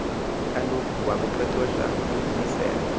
kaloku kwakuqeqeshwa umlisela